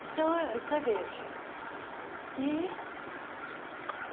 Então eh, você veja ih